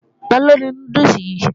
Taló ni núdùsì yìí?